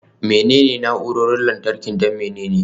Menene waɗannan na'urorin lantarki don menene?